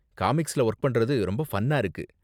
காமிக்ஸ்ல work பண்றது ரொம்ப ஃபன்னா இருக்கு